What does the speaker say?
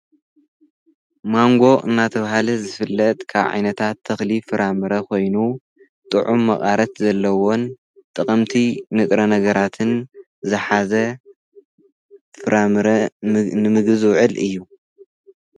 ማንጎ እናተውሃለ ዝፍለጥ ካብ ዓይነታት ተኽሊ ፍራምረ ኮይኑ፣ ጥዑም መቃረት ዘለዎን ጥቐምቲ ንጥረ ነገራትን ዝሓዘ ፍራምረ ንምግቢ ዝውዕል እዩ።